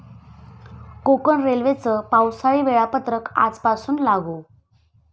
कोकण रेल्वेचं पावसाळी वेळापत्रक आजपासून लागू